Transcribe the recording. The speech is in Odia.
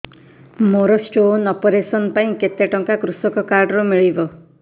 ମୋର ସ୍ଟୋନ୍ ଅପେରସନ ପାଇଁ କେତେ ଟଙ୍କା କୃଷକ କାର୍ଡ ରୁ ମିଳିବ